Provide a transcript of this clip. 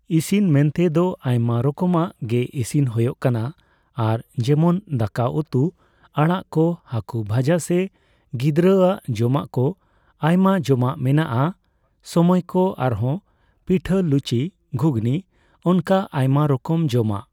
ᱤᱥᱤᱱ ᱢᱮᱱᱛᱮ ᱫᱚ ᱟᱭᱢᱟ ᱨᱚᱠᱚᱢᱟᱜ ᱜᱮ ᱤᱥᱤᱱ ᱦᱳᱭᱳᱜ ᱠᱟᱱᱟ ᱟᱨ ᱡᱮᱢᱚᱱ ᱫᱟᱠᱟ ᱩᱛᱩ ᱟᱲᱟᱜ ᱠᱚ ᱦᱟᱠᱳ ᱵᱷᱟᱡᱟ ᱥᱮ ᱜᱤᱫᱽᱨᱟᱹ ᱟᱜ ᱡᱚᱢᱟᱜ ᱠᱚ ᱟᱭᱢᱟ ᱡᱚᱢᱟᱜ ᱢᱮᱱᱟᱜᱼᱟ ᱥᱟᱢᱟᱭ ᱠᱚ ᱟᱨᱦᱚᱸ ᱯᱤᱴᱷᱟᱹ ᱞᱩᱪᱤ ᱜᱷᱩᱜᱱᱤ ᱚᱱᱠᱟ ᱟᱭᱢᱟ ᱨᱚᱠᱚᱢ ᱡᱚᱢᱟᱜ ᱾